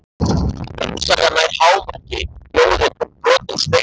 Harmsagan nær hámarki í ljóðinu Brotinn spegill.